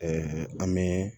an bɛ